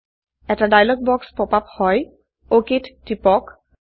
এটি ডায়লগ বাক্স pop up হয় অক টিপক